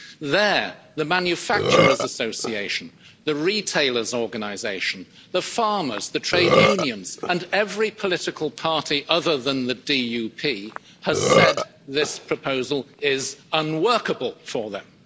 There, the manufacturers' association, the retailers' organisation, the farmers, the trade unions and every political party other than the DUP has said this proposal is unworkable for them.